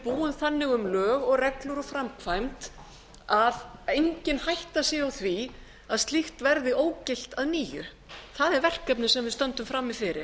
búum þannig um lög og reglur og framkvæmd að engin hætta sé á því að slík verði ógilt að nýju það er verkefnið sem við stöndum frammi fyrir